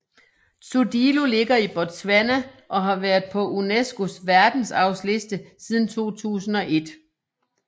Tsodilo ligger i Botswana og har været på UNESCOs verdensarvsliste siden 2001